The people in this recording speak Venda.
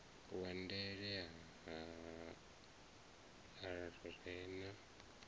wa ndele a re na